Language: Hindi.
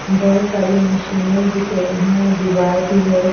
बहुत सारी मशीनें दिख रही हैं दीवार भी है।